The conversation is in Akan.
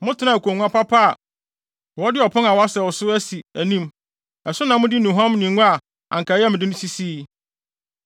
Motenaa akongua papa bi a wɔde ɔpon a wɔasɛw so asi anim, ɛso na mode nnuhuam ne ngo a anka ɛyɛ me de no sisii.